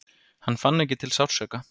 Hann fann ekki til sársauka.